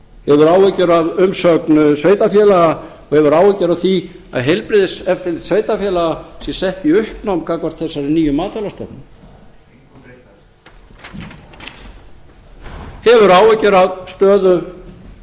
hefur áhyggjur af umsögn sveitarfélaga og hefur áhyggjur af því að heilbrigðiseftirlit sveitarfélaga sé sett í uppnám gagnvart þessari nýju matvælastofnun það mundi engu breyta hefur áhyggjur af stöðu